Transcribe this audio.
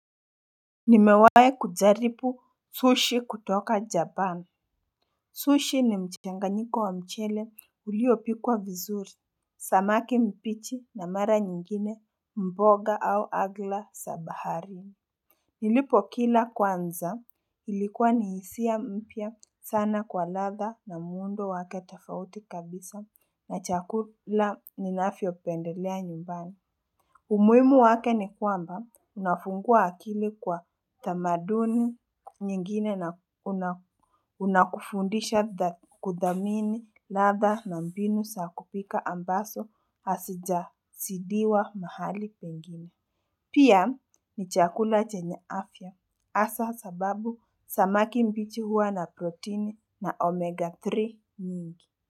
Nimewai kujaribu sushi kutoka japani Sushi ni mchanganyiko wa mchele uliopikwa vizuri Samaki mbichi na mara nyingine mboga au agla za baharini Nilipo kila kwanza ilikuwa nihisia mpya sana kwa ladha na muundo wake tafauti kabisa na chakula ninavyo pendelea nyumbani umuhimu wake ni kwamba unafungua akili kwa tamaduni nyingine na unakufundisha kudhamini ladha na mbinu za kupika ambazo hasijazidiwa mahali pengine. Pia ni chakula chenye afya hasa sababu samaki mbichi huwa na proteini na omega 3 nyingi.